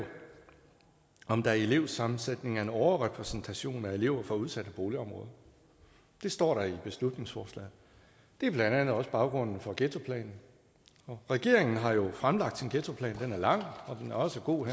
om der i en elevsammensætning er en overrepræsentation af elever fra udsatte boligområder det står der i beslutningsforslaget det er blandt andet også baggrunden for ghettoplanen regeringen har jo fremlagt sin ghettoplan den er lang og den er også god